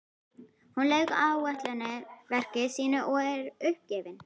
Hún lauk ætlunarverki sínu og er uppgefin.